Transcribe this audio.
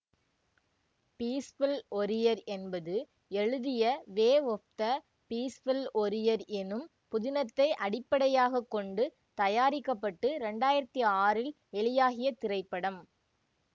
peaceful warrior என்பது எழுதிய way of the peaceful warrior எனும் புதினத்தை அடிப்படையாக கொண்டு தயாரிக்க பட்டு இரண்டு ஆயிரத்தி ஆறு இல் வெளியாகிய திரைப்படம்